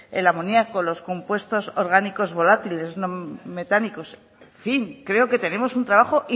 el amoniaco los compuestos orgánicos volátiles no metánicos en fin creo que tenemos un trabajo